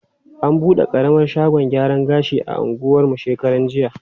An bude ƙaramar shagon gyaran gashi a anguwan mu shekarar jiya.